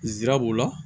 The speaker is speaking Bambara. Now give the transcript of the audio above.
Nsira b'o la